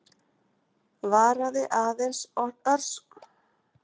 Varaði aðeins örskotsstund.